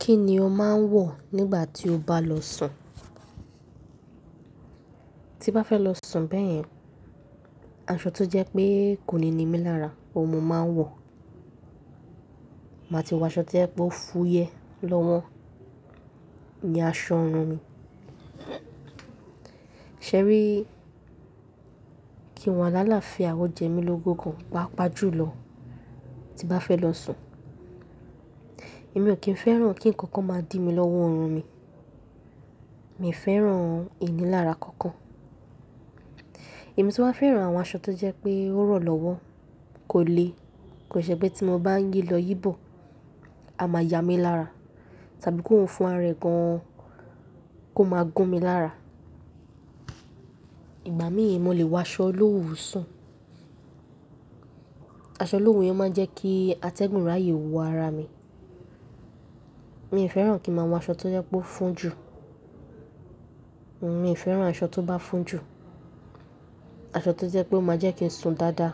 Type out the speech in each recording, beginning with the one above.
Kíni o máa ń wọ̀ nígbà tí o bá lọ sùn? Tí bá fẹ́ lọ sùn bẹ́yẹn, aṣọ tó jẹ́ pé kòní ními lára òun mo máa ń wọ̀. Màá ti wọ aṣọ tó yẹ kó fúyẹ́ lọ́wọ́ ní aṣọ orun mi. Ṣé rí? Kí n wá láàlàáfíà ó jẹ mí lógún gan, pàápàá julọ tí bá fẹ́ lọ sùn. Èmi ò kí ń fẹ́ràn kí ǹkankan máa dìmi lọ́wọ́ orun mi. Mi ò fẹ́ràn ìní lára kankan. Èmi tí wá fẹ́ràn àwọn aṣọ tó jẹ́ pé ó rọ̀ lọ́wọ́ kò le. Kò ṣe pé tí mo bá ń yí lọ yìí bọ̀, a máa yá mi lára, tàbí kó hun fún arẹ gan-an kó máa gún mi lára. Ìgbà mìí mo lè wọ aṣọ olowu sùn. Aṣọ olowu yẹn máa ń jẹ́ kí atẹ́gùn rààyè wọ ara mi. Mi ò fẹ́ràn kí n máa wọ aṣọ tó jẹ́ pé ó fún jù. Mi ò fẹ́ràn aṣọ tó bá fún jù. Aṣọ tó jẹ́ pé ó máa jẹ́ kí n sùn dáadáa.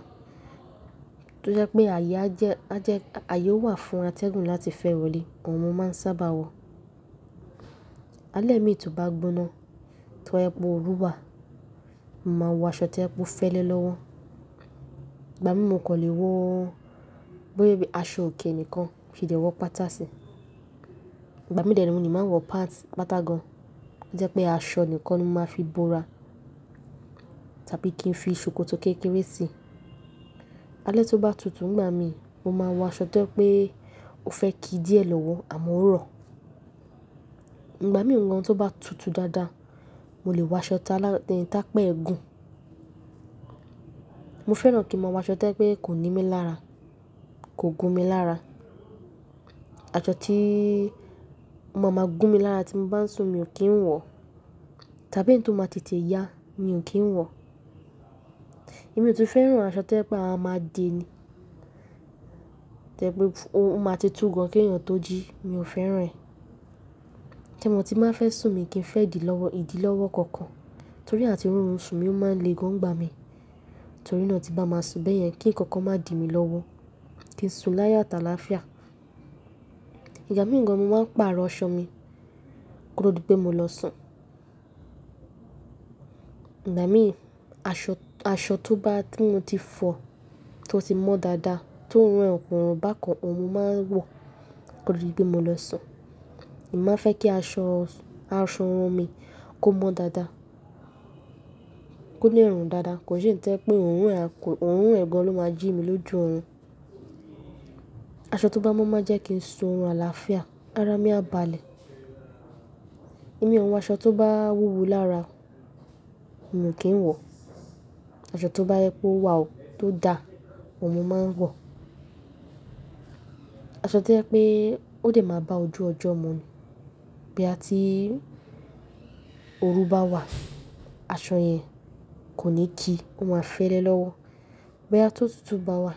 Tó jẹ́ pé ààyè á jẹ́, á jẹ́, ààyè ó wà fún atẹ́gùn láti fẹ́ wọlé, òun mo máa ń sábà wọ̀. Alẹ́ mi tó bá gbóná, tó bá jẹ́ pé ooru wà, màá wọ aṣọ tó jẹ́ pé ó fẹ́lẹ́ lọ́wọ́. Ìgbà míi mo kò lè wọ bí i aṣọ òkè nìkan, mo sì le wọ pátá sì. Ìgbà míi dẹ re mo ní máa wọ pats, pátà gan-an. Tó jẹ́ pé aṣọ nìkan ni mo máa fi bora, tàbí kí n fi sòkòtò kékeré sì. Alẹ́ tó bá tutù nígbà míi, mo máa wọ aṣọ tó jẹ́ pé ó fẹ́ kí díẹ̀ lọ́wọ́ àmọ́ ó rọ̀. Ìgbà míi gan tóbá tutù dáadáa, mo lè wọ aṣọ tá lá-- tá pa ẹ gún. Mo fẹ́ràn kí n máa wọ aṣọ tó jẹ́ pé kò nímí lára, kò gún mi lára. Aṣọ tí o máa máa gún mi lára tí mo bá ń sùn mi ò kí ń wọ̀, tàbí èyí tó máa tètè yá mi ò kí ń wọ̀. Èmi ò tún fẹ́ràn aṣọ tó jẹ́ pé a máa máa dè ni. Tẹ́ pé ó máa ti tú gan-an kí èèyàn tó jí, mi ò fẹ́ràn rẹ̀. Ẹ mọ tí n báa fẹ́ sùn mi kí n fẹ idi lọ́wọ́, idi lọ́wọ́ kankan. Torí àti rọrùn sùn mi ó máa ń le gan-an ń gbà mí. Torí náà tí bá máa sùn bẹ́yẹn kí ǹkankan má dì mi lọ́wọ́. Kí n sùn láyọ̀ àti alááfíà. Ìgbà mìí gan ni mo máa ń pàrọ̀ aṣọ mi kótó dìpé mo lọ sùn. Ìgbà mí aṣọ, aṣọ tó bá, tí mo ti fọ̀, tó ti mọ́ dáadáa, tí oorun ẹ kòrùn bákan òun mo máa ń wọ̀ kótó dìpé mo lọ sùn. Èmi máa fẹ́ kí aṣọ, aṣọ orun mi kó mọ́ dáadáa. Kó le rùn dáadáa. Kò ń ṣe èyí tó jẹ́ pé oorun ẹ̀, oorun ẹ̀ gan-an ló máa jí mi lójú orun. Aṣọ tó bá mọ́ máa jẹ́ kí n sùn orun àlàáfíà, ara mi á balẹ̀. Èmi ò ń wọ aṣọ tó bá wúwo lára, mi ò kí ń wọ̀. Aṣọ tó bá jẹ́ pé ó wà ó, tó dá, òun mo máa ń wọ̀. Aṣọ tó jẹ́ pé ó dẹ máa bá ojú ọjọ́ mu ni. Bí a tí oru bá wà, aṣọ yẹn kò ní kíi, ó máa fẹ́lẹ́ lọ́wọ́. Bóyá tó tutù bá wà,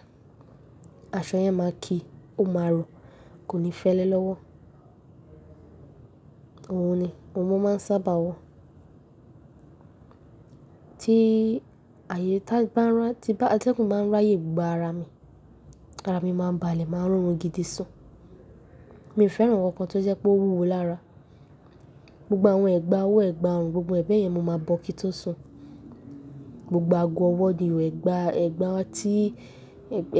aṣọ yẹn máa kíi, ó máa rọ̀, kò ní fẹ́lẹ́ lọ́wọ́. Òun ni òun mo máa ń sábà wọ̀. Tí atẹ́gùn bá ń rayè gba ara mi, ara mi máa ń balẹ̀, máa rọ̀rùn gidi sùn. Mi ò fẹ́ràn ǹkankan tó jẹ́ pé ó wúwo lára. Gbogbo àwọn ẹ̀gbàá ọwọ́, ẹ̀gbàá ọrùn, gbogbo ẹ̀ bẹ́yẹn mo máa bọ kí n tó sùn. Gbogbo ago ọwọ́ ni o, ẹ̀gbàá, ẹ̀gbàá tí,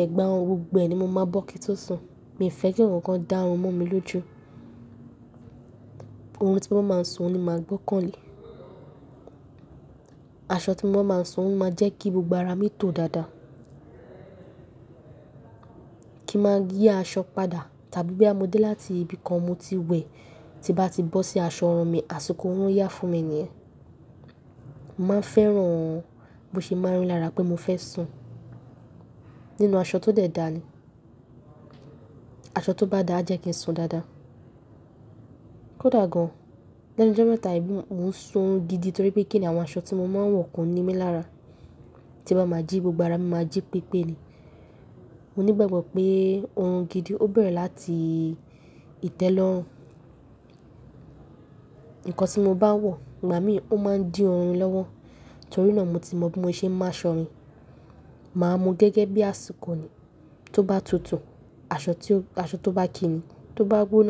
ẹ̀gbàá ọrùn gbogbo ni mo máa bọ kí n tó sùn. Mi ò fẹ́ kí ǹkankan dá orun mọ mi lójú. Orun tí mo bá máa sùn, òun ni màá gbọ́kàn lé. Aṣọ tí mo máa ń sùn ó máa jẹ́ kí gbogbo ara mi tò dáadáa. Kí n máa yí aṣọ padà, tàbí bí a mo dé láti ibi kan mo ti wẹ̀, tí bá ti bọ́ sí aṣọ orun mi, àsìkò orun yá fún mi níyẹn. Mo máa ń fẹ́ràn bó ṣe máa ń rì lára pé mo fẹ́ sùn nínú aṣọ tó dẹ̀ dá ni. Aṣọ tó bá dáa, a jẹ́ kí n sùn dáadáa. Kódà gan-an, lẹ́nu ọjọ́ mẹ́ta èyí ni mò ń sùn orun gidi torí pé kíni àwọn aṣọ tí mo máa ń wọ̀ kò ní mí lára. Tí n bá máa jí gbogbo ara mi màá jí pípé ni. Mo ní ìgbàgbọ́ pé orun gidi ó bẹ̀rẹ̀ láti ìtẹ́lọ́rùn. Ǹkan tí mo bá wọ̀, ìgbà míi òun máa ń dí orun mi lọ́wọ́. Torí náà mo ti mọ bí mo ṣe máa asọ mi màá mú gẹ́gẹ́ bí àsìkò ni. Tó bá tutù, aṣọ tí ó, aṣọ tó bá kíi ni. Tó bá gbóná.